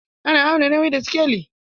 Ana auna nauyi da sikeli.